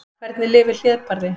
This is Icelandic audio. Hvernig lifir hlébarði?